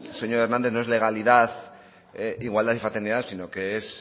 señor hernández no es legalidad igualdad y fraternidad sino que es